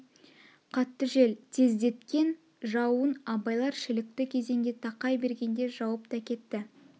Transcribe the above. қатты жел тездеткен жауын абайлар шілікті кезеңге тақай бергенде жауып та кетті